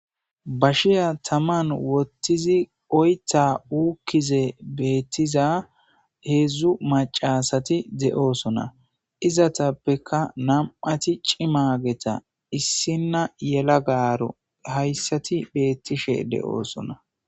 bashiya taman wottizi oytha uukkize beettiza heedzdzu macasati de7oosona izatappeka nam7ati cimageta issinna yelagaro hayssati beettishe de7oosona